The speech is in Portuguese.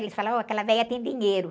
Eles falam, ó, aquela velha tem dinheiro.